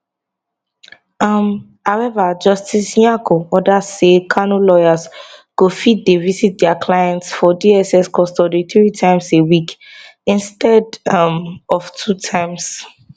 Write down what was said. um however justice nyako order say kanu lawyers go fit dey visit dia client for dss custody three times a week instead um of two times